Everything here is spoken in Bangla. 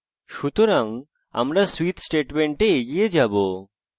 সুতরাং আমরা switch statements এগিয়ে যাবো